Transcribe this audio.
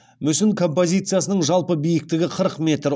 мүсін композициясының жалпы биіктігі қырық метр